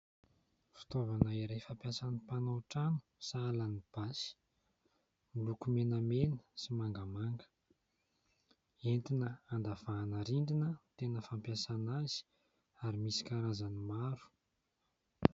Fitaovana iray fampiasan'ny mpanao trano, sahala amin'ny basy, miloko menamena sy mangamanga, entina andavahana rindrina no tena fampiasana azy ary misy karazany maro.